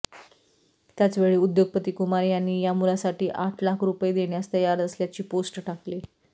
त्याचवेळी उद्योगपती कुमार यांनी या मुलासाठी आठ लाख रुपये देण्यास तयार असल्याची पोस्ट टाकली